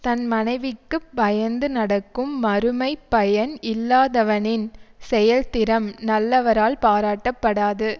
தன் மனைவிக்கு பயந்து நடக்கும் மறுமை பயன் இல்லாதவனின் செயல்திறம் நல்லவரால் பாராட்டப்படாது